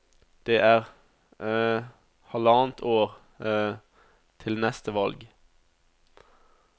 Det er halvannet år til neste valg.